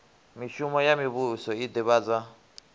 mishumo ya muvhuso i ḓivhadza